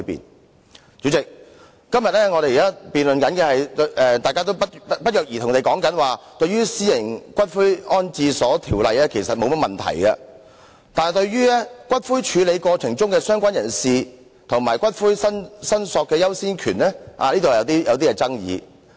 代理主席，在今天的辯論中，大家不約而同地表示對《私營骨灰安置所條例草案》其實沒有異議，但對於骨灰處理過程中的"相關人士"和骨灰申索的優先權方面有所爭議。